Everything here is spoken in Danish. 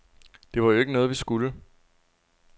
Det var jo ikke noget, vi skulle.